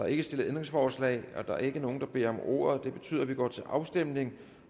ikke stillet ændringsforslag der er ingen der beder om ordet og det betyder at vi går til afstemning